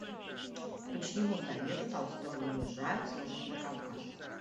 по чьему совету толстой уезжает служить на кавказ